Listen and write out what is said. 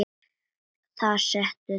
Þar settu þeir Skapta niður.